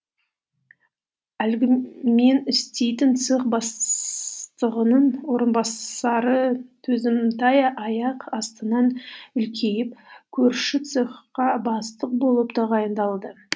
әлгі мен істейтін цех бастығының орынбасары төзімтай аяқ астынан үлкейіп көрші цехқа бастық болып тағайындалды